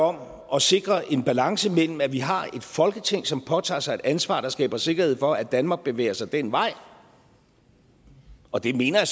om at sikre en balance mellem at vi har et folketing som påtager sig et ansvar og som skaber sikkerhed for at danmark bevæger sig ad den vej og det mener jeg